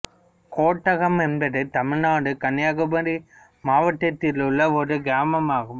கோட்டகம் என்பது தமிழ்நாடு கன்னியாகுமரி மாவட்டத்தில் உள்ள ஒரு கிராமமாகும்